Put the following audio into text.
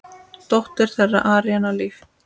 Dóttir þeirra: Aríanna Líf.